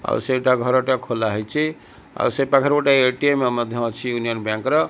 ଆଉ ସେଇଟା ଘରଟା ଖୋଲା ହେଇଚି ଆଉ ସେପାଖରେ ଗୋଟେ ଏ_ଟି_ଏମ୍ ମଧ୍ୟ ଅଛି ୟୁନିୟନ ବ୍ୟାଙ୍କ ର।